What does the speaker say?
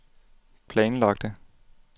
planlagte